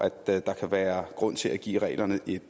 at der kan være grund til at give reglerne et